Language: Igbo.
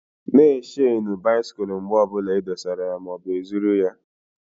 Na e shenu bisikul mgbe ọbụla e dosara ya maọbụ e zụrụ ya!